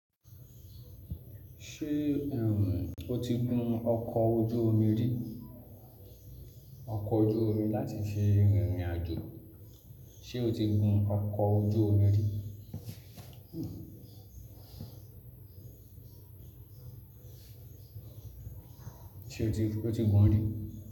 Ṣé o ti gun ọkọ̀ ojú omi rí? Ọkọ̀ ojú omi láti fi rìnrìn àjò, ṣe o ti gun ọkọ̀ ojú omi rí? Ṣe o ti gun rí.